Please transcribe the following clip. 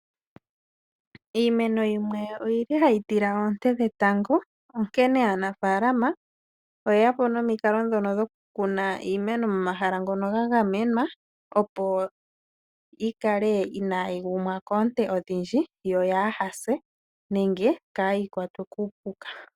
Iimeno yimwe oyi li hayi tila oonte dhetango, onkene aanafaalama oye ya po nomikalo dhono dhokukuna iimeno momahala ga gamenwa , opo yi kale inaayi gumwa koonte odhindji yo yaase nenge kaayi kwatwe kuupuka.